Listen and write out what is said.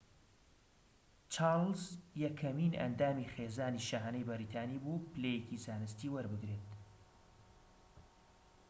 چارلز یەکەمین ئەندامی خێزانی شاهانەی بەریتانی بوو پلەیەکی زانستی وەربگرێت